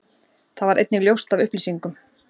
Það varð einnig ljóst af upplýsingum